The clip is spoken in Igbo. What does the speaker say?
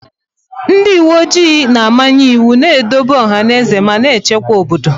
Ndị uwe ojii na-amanye iwu, na-edobe ọhaneze ma na-echekwa obodo.